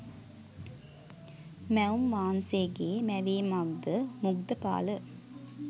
මැවුම් වහන්සේගේ මැවීමක්ද මුග්ධපාල?